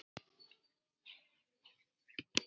Gísli lofar því.